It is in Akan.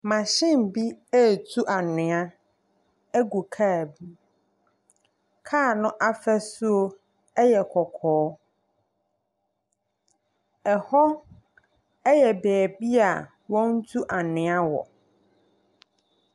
Machine bi ɛretu anwea agu kaa bi mu. Kaa no ahosuo yɛ kɔkɔɔ. Hɔ yɛ beebi wɔtu anwea wɔ.